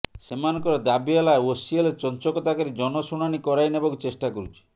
ସେମାନଙ୍କର ଦାବି ହେଲା ଓସିଏଲ ଚଞ୍ଚକତା କରି ଜନଶୁଣାଣୀ କରାଇନେବାକୁ ଚେଷ୍ଟା କରୁଛି